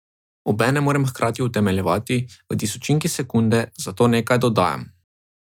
Obenem moram hkrati utemeljevati, v tisočinki sekunde, zakaj nekaj dodajam ...